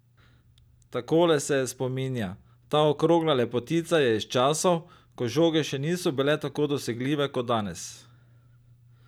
Takole se je spominja: 'Ta okrogla lepotica je iz časov, ko žoge še niso bile tako dosegljive kot danes.